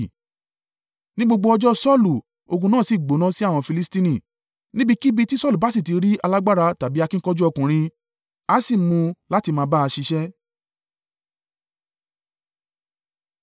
Ní gbogbo ọjọ́ Saulu, ogun náà sì gbóná sí àwọn Filistini, níbikíbi tí Saulu bá sì ti rí alágbára tàbí akíkanjú ọkùnrin, a sì mú u láti máa bá a ṣiṣẹ́.